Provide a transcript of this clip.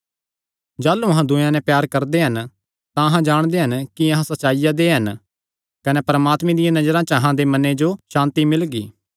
जाह़लू अहां दूयेयां नैं प्यार करदे हन तां अहां जाणगे कि अहां सच्चाईया दे हन कने परमात्मे दिया नजरा च अहां दे मने जो सांति मिलगी